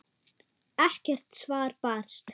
Ekkert svar barst.